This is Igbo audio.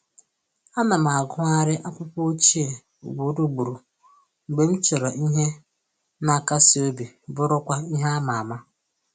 Ana m agụgharị akwụkwọ ochie ugboro ugboro mgbe m chọrọ ihe na akasi obi bụrụkwa ihe ama ama